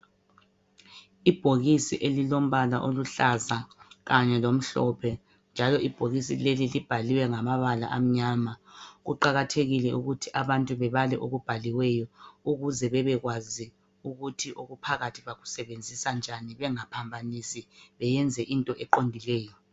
ibhokisi eliombala oluhlaza kanye lomhlophe njalo ibhokisi leli libhaliwe ngamabala amnyama kuqakathekile ukuthi abantu bebale okubhaliweyo ukuze bebekwazi ukuthi okuphakathi baku sebenzisa njani bengaphambanisi beyenze into eqondileyo.